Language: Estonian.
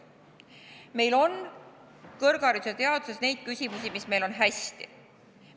Meil on kõrghariduses ja teaduses neid asju, mis meil on hästi.